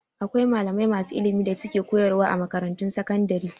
Akwai malamai masu ilimi da ke koyarwa a makarantun sakandare.